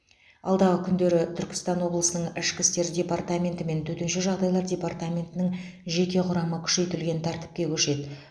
алдағы күндері түркістан облысының ішкі істер департаменті мен төтенше жағдайлар департаментінің жеке құрамы күшейтілген тәртіпке көшеді